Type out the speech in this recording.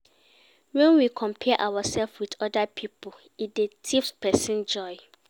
When we compare ourself with oda pipo, e dey thief person joy